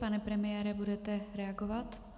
Pane premiére, budete reagovat?